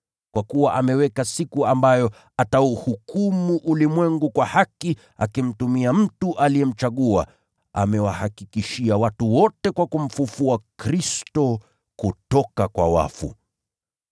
Kwa kuwa ameweka siku ambayo atauhukumu ulimwengu kwa haki akimtumia mtu aliyemchagua. Amewahakikishia watu wote mambo haya kwa kumfufua Kristo kutoka kwa wafu.”